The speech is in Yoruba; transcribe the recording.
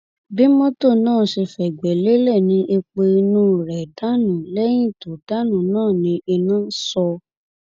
bí mọtò náà ṣe fẹgbẹ lélẹ ni epo inú rẹ dànù lẹyìn tó dànù náà ní iná sọ